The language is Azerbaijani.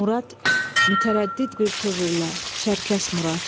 Murad, mütərəddid bir tövrlə, Çərkəz Murad.